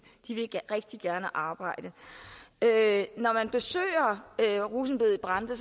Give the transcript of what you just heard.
de vil rigtig gerne arbejde når man besøger rosenbedet i brande